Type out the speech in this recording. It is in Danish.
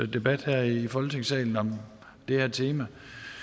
debat her i folketingssalen om det her tema